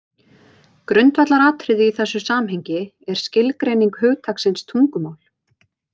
Grundvallaratriði í þessu samhengi er skilgreining hugtaksins tungumál.